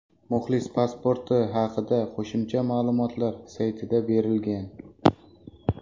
Muxlis pasporti haqida qo‘shimcha ma’lumotlar saytida berilgan.